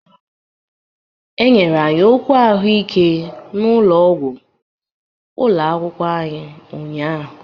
E nyere anyị okwu ahụike n'ụlọọgwụ ụlọ akwụkwọ ụnyahụ.